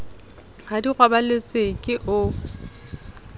ha di robaletse ke o